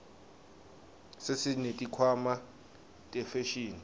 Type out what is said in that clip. sesineti khwama tefashini